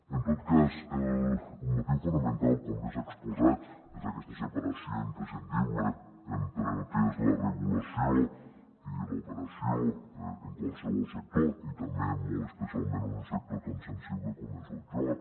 en tot cas el motiu fonamental com bé s’ha exposat és aquesta separació imprescindible entre el que és la regulació i l’operació en qualsevol sector i també molt especialment un sector tan sensible com és el joc